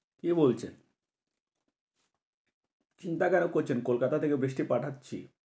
কি বলছেন? চিন্তা কেন করছেন? কলকাতা থেকে বৃষ্টি পাঠাচ্ছি।